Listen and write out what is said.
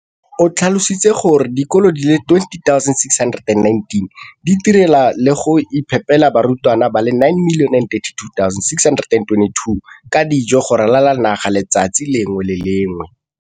O tlhalositse gore dikolo di le 20 619 di itirela le go iphepela barutwana ba le 9 032 622 ka dijo go ralala naga letsatsi le lengwe le le lengwe.